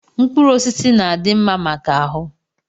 Mkpụrụ osisi na-adị mma maka ahụ.